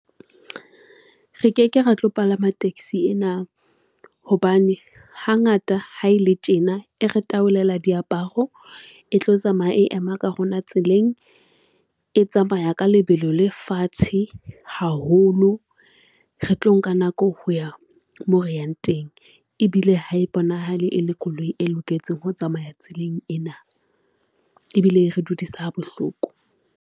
Re ke ke re tlo palama taxi ena hobane hangata ha e le tjena e re tabolela diaparo, e tlo tsamaya ema ka rona tseleng, e tsamaya ka lebelo la fatshe haholo. Re tlo nka nako ho ya moo re yang teng ebile ha e bonahale e le koloi e loketseng ho tsamaya tseleng ena ebile e re dudiswa bohloko.